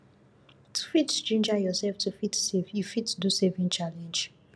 to fit ginger yourself to fit save you fit do savings challenge